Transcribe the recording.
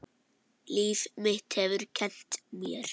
Líf mitt hefur kennt mér.